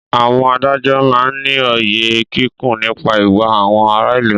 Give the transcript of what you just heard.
Àwọn adájọ́ máá ń ní òye kíkún nípa ìwà àwọn ará ìlú